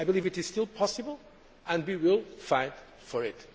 I believe it is still possible, and we will fight for it.